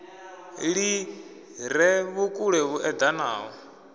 li re vhukule hu edanaho